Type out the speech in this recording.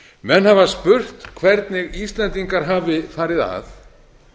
menn hafa spurt hvernig íslendingar hafi farið að